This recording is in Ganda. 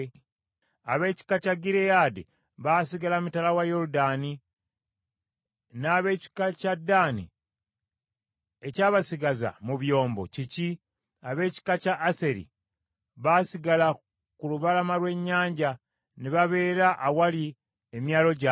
Ab’ekika kya Gireyaadi baasigala mitala wa Yoludaani. N’ab’ekika kya Ddaani ekyabasigaza mu byombo kiki? Ab’ekika kya Aseri; baasigala ku lubalama lw’ennyanja, ne babeera awali emyalo gyabwe.